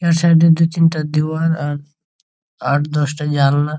এই সাইড এ দু তিনটে দেয়াল আর আট দশ টা জানালা।